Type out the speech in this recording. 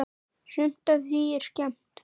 Sumt af því er skemmt.